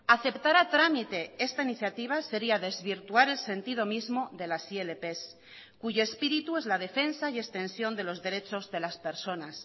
aceptar a trámite esta iniciativa sería desvirtuar el sentido mismo de las ilp cuyo espíritu es la defensa y extensión de los derechos de las personas